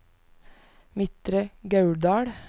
Midtre Gauldal